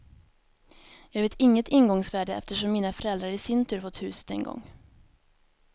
Jag vet inget ingångsvärde eftersom mina föräldrar i sin tur fått huset en gång.